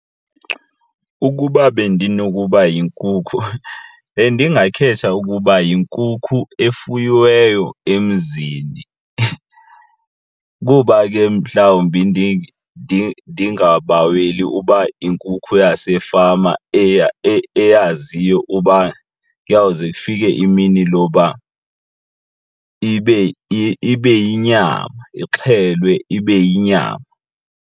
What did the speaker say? Ukuba bendinokuba yinkukhu bendingakhetha ukuba yinkukhu efuyiweyo emzini, kuba ke mhlawumbi ndingabaweli uba yinkukhu yasefama eyazisayo uba kuyawuze ifike imini loba ibe yinyama, ixhelwe ibe yinyama.